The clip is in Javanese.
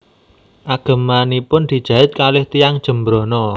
Agemanipun dijait kalih tiyang Jembrana